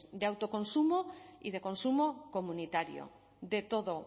de autoconsumo y de consumo comunitario de todo